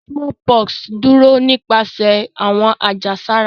Smallpox duro nipasẹ awọn ajesara.